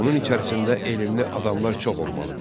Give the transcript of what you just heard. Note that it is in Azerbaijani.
Onun içərisində elmli adamlar çox olmalıdır.